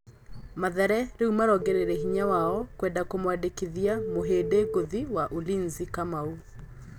Mathare rĩ u marongoreirie hinya wao kwenda kũmwandĩ kithia mũhĩ ndi ngũthi wa Ulinzi Kamau.